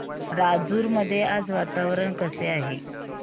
राजूर मध्ये आज वातावरण कसे आहे